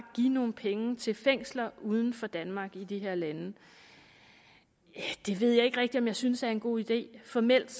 give nogle penge til fængsler uden for danmark altså i de her lande det ved jeg ikke rigtig om jeg synes er en god idé formelt